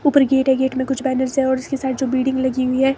ऊपर गेट है गेट मे कुछ बैनर्स है और इसके साथ जो बिडिंग लगी हुई है।